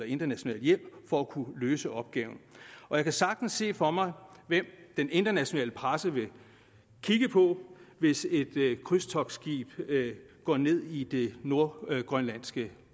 international hjælp for at kunne løse opgaven jeg kan sagtens se for mig hvem den internationale presse vil kigge på hvis et krydstogtskib går ned i det nordgrønlandske